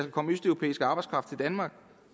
komme østeuropæisk arbejdskraft til danmark